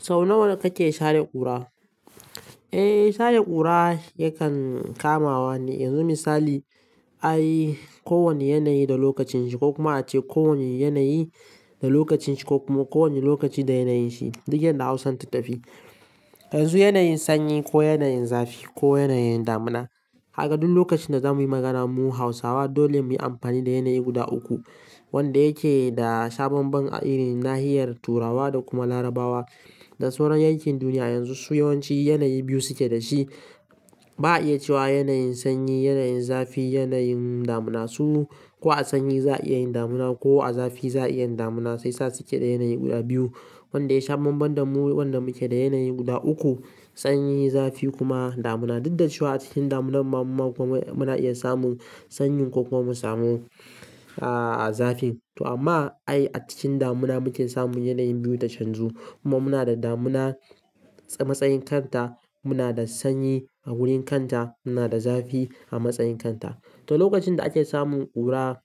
Sau nawa kake share ƙura? Eh, share ƙura yakan kamawa ne. Yanzu misali, ai ko wane yanayi da lokacin shi ko kuma ace ko wane yanayi da lokacin shi ko kuma ko wane lokaci da yanayin shi, duk yadda Hausa ta tafi. Yanzu yanayin sanyi ko yanayin zafi ko yanayin damuna. Kaga duk lokacin da zamuyi magana mu Hausawa dole muyi amfani da yanayi guda uku wanda yake da sababan irin nahiyar Turawa da kuma Larabawa. Da sauran yankin duniya yanzu su yawanci yanayi biyu suke da shi. Ba a iya cewa yanayin sanyi, yanayin zafi, yanayin damuna. Su ko a sanyi za a iya yin damuna ko a zafi za a iya yin damuna sai sa suke da yanayi guda biyu. Wanda ya shaban bandan mu wanda muke da yanayi guda uku, sanyi, zafi kuma damuna. Duk da cewa a cikin damunan ma kuma muna iya samun sanyi ko kuma samun, ah, zafi. To amma ai a cikin damuna muke samun yanayin biyu ta canzu kuma muna da damuna a matsayin kanta, muna da sanyi a wurin kanta, muna da zafi a matsayin kanta. To lokacin da ake samun ƙura